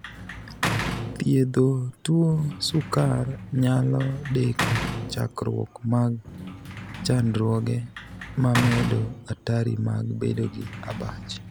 Thiedho tuo sukar nyalo deko chakruok mag chandruoge mamedo atari mag bedo gi abach.